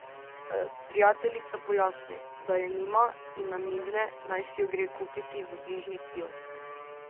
Prijateljica pojasni, da je nima, in namigne, naj si jo gre kupiti v bližnji kiosk.